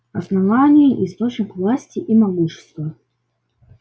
основание источник власти и могущества